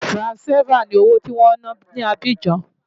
Franc CFA ni owó tí wọ́n ń ná ní Abidjan.